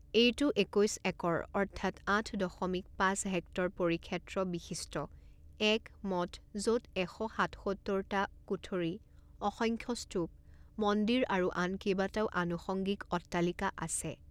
এইটো একৈছ একৰ অৰ্থাৎ আঠ দশমিক পাঁচ হেক্টৰ পৰিক্ষেত্ৰ বিশিষ্ট এক মঠ, য'ত এশ সাতসত্তৰটা কুঠৰী, অসংখ্য স্তূপ, মন্দিৰ আৰু আন কেইবাটাও আনুষঙ্গিক অট্টালিকা আছে।